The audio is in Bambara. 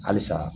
Halisa